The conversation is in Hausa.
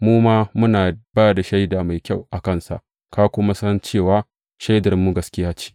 Mu ma muna ba da shaida mai kyau a kansa, ka kuma san cewa shaidarmu gaskiya ce.